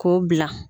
K'o bila